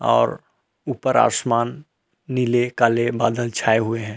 और ऊपर आसमान नीले काले बादल छाए हुए हैं।